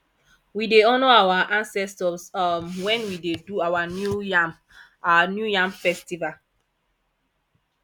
we dey honour our ancestors um wen we dey do our new yam our new yam festival